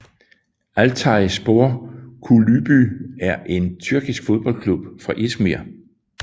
Altay Spor Kulübü er en tyrkisk fodboldklub fra İzmir